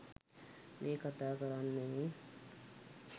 මේ කතා කරන්නේ